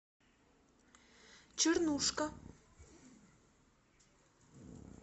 чернушка